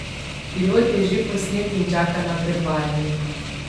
Pilot je že posnet in čaka na predvajanje.